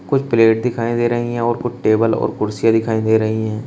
कुछ प्लेट दिखाई दे रही है और कुछ टेबल और कुर्सियां दिखाई दे रही है।